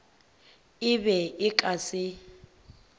e be e ka se